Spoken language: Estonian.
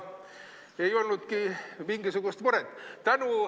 Ei olnudki mingisugust muret.